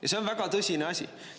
Ja see on väga tõsine asi.